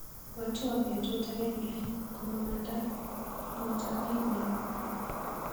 Ibwatwa betut agenge komamanda motakainyu.